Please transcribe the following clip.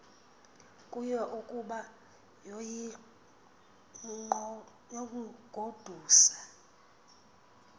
kuyo ukuba yoyigodusa